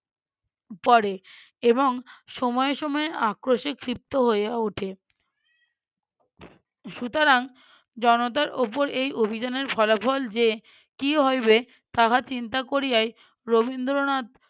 পড়ে এবং সময়ে সময়ে আক্রোশে ক্ষিপ্ত হইয়া ওঠে। সুতরাং, জনতার উপর এই অভিযানের ফলাফল যে কী হইবে তাহা চিন্তা করিয়াই রবীন্দ্রনাথ